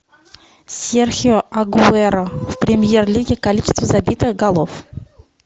серхио агуэро в премьер лиге количество забитых голов